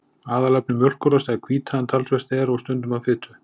Aðalefni mjólkurosta er hvíta en talsvert er og stundum af fitu.